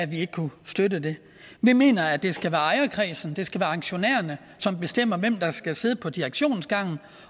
vi ikke kunne støtte det vi mener at det skal være ejerkredsen at det skal være aktionærerne som bestemmer hvem der skal sidde på direktionsgangen